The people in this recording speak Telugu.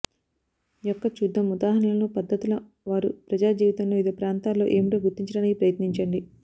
యొక్క చూద్దాం ఉదాహరణలు పద్ధతుల వారు ప్రజా జీవితంలో వివిధ ప్రాంతాల్లో ఏమిటో గుర్తించడానికి ప్రయత్నించండి